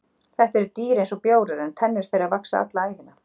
þetta eru dýr eins og bjórar en tennur þeirra vaxa alla ævina